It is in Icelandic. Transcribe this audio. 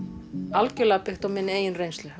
algjörlega byggt á minni eigin reynslu